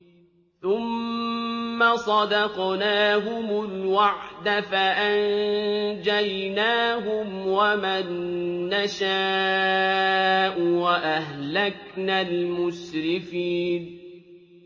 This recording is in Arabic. ثُمَّ صَدَقْنَاهُمُ الْوَعْدَ فَأَنجَيْنَاهُمْ وَمَن نَّشَاءُ وَأَهْلَكْنَا الْمُسْرِفِينَ